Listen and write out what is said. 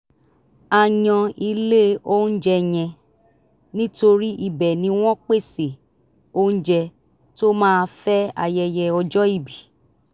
a yan ilé oúnjẹ yẹn nítorí ibẹ̀ ni wọ́n pèsè oúnjẹ tó máa fẹ́ ayẹyẹ ọjọ́ ìbí